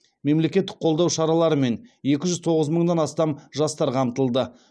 мемлекеттік қолдау шараларымен екі жүз тоғыз мыңнан астам жастар қамтылды